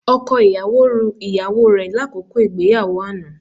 Ọkọ ìyàwó ru ìyàwó rẹ lákòókò ìgbéyàwó àná